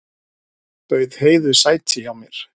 Bauð Heiðu sæti hjá mér.